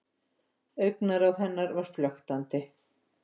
Augnaráð hennar var flöktandi.